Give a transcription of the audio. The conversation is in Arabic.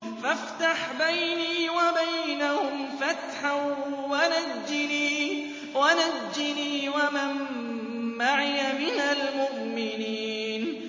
فَافْتَحْ بَيْنِي وَبَيْنَهُمْ فَتْحًا وَنَجِّنِي وَمَن مَّعِيَ مِنَ الْمُؤْمِنِينَ